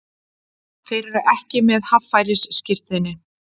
Þeir eru ekki með haffærisskírteini